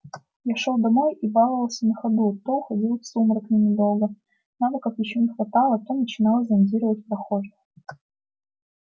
я шёл домой и баловался на ходу то уходил в сумрак ненадолго навыков ещё не хватало то начинал зондировать прохожих